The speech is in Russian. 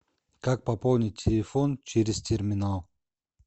как пополнить телефон через терминал